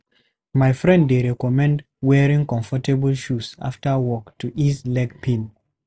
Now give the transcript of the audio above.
My friend dey recommend wearing comfortable shoes after work to ease leg pain.